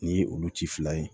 Nin ye olu ci fila ye